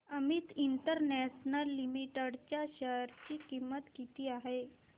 Amit international limited च्या share ची किंमत किती आहे